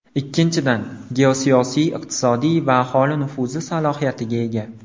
Ikkinchidan, geosiyosiy, iqtisodiy va aholi nufuzi salohiyatiga ega.